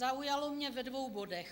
Zaujalo mě ve dvou bodech.